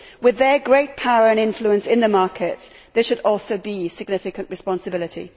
With their great power and influence in the markets, there should also be significant responsibility.